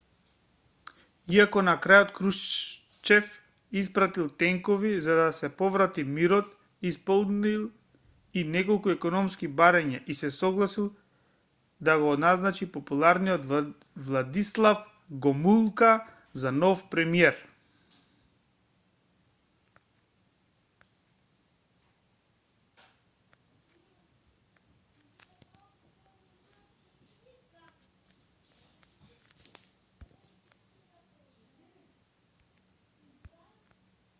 иако на крајот крушчев испратил тенкови за да се поврати мирот исполнил и неколку економски барања и се согласил да го назначи популарниот владислав гомулка за нов премиер